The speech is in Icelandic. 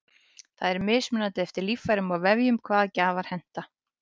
það er mismunandi eftir líffærum og vefjum hvaða gjafar henta